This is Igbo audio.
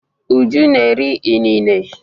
Uju na-eri inine.